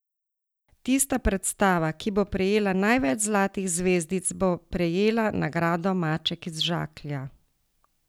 Tista predstava, ki bo prejela največ zlatih zvezdic, bo prejela nagrado Maček iz žaklja.